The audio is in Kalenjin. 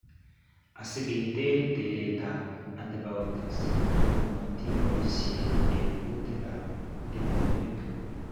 Asiketeer tereet ab antibiotics komatiboisien eng' kuutik ab tingwoik